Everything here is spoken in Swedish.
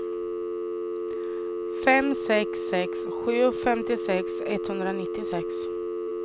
fem sex sex sju femtiosex etthundranittiosex